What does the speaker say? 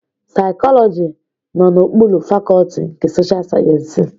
Saikoloji nọ n'okpuru Fakọlti nke Sosha Sayensị.